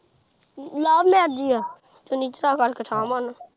love marriage ਈ ਆ ਚੁੰਨੀ ਚੜਾ ਕਰਕੇ ਠਾ ਮਾਰਨਾ।